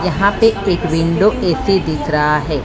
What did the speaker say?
यहां पे एक विंडो ए_सी दिख रहा है।